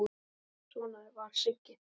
En svona var Sigga.